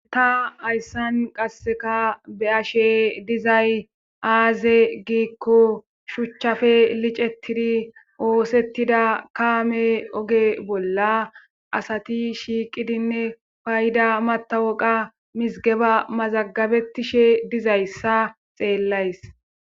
ta hayssan qasseka be'ashe dizay aaze giikko shuchchafe licettidi oosettida kaame oge bolla asati shiiqidinne payda matawoqa mizgeba mazagabetishe dizayssa xeellays